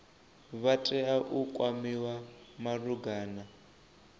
vha tea u kwamiwa malugana